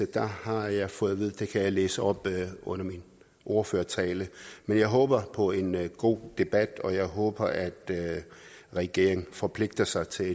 der har jeg fået at vide at det kan jeg læse op under min ordførertale men jeg håber på en god debat og jeg håber at regeringen forpligter sig til at